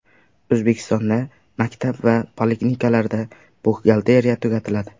O‘zbekistonda maktab va poliklinikalarda buxgalteriya tugatiladi .